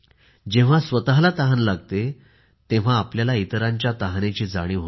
जेव्हा त्याला स्वतःला तहान लागते तेव्हा त्याला इतरांच्या तहानेची जाणीव होते